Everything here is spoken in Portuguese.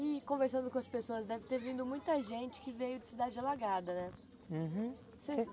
E conversando com as pessoas, deve ter vindo muita gente que veio de cidade alagada, né? Uhum